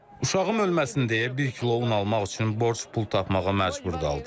Uşağım ölməsin deyə bir kilo un almaq üçün borc pul tapmağa məcbur qaldım.